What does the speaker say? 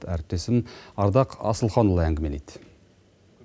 әріптесім ардақ асылханұлы әңгімелейді